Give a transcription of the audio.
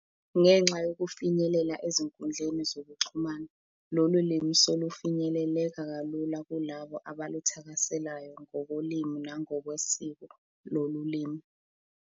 Ngenxa yokufinyelela ezinkundleni zokuxhumana, lolu limi selufinyeleleka kalula kulabo abaluthakaselayo ngokolimi nangokwesiko lolu limi.